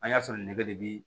An y'a sɔrɔ nin ne bɛ